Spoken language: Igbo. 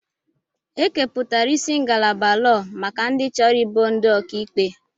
Ekepụtara isi ngalaba lọọ maka ndị chọrọ ịbụ ndị ọkà ikpe.